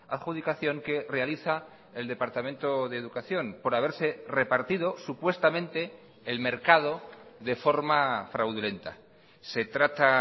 adjudicación que realiza el departamento de educación por haberse repartido supuestamente el mercado de forma fraudulenta se trata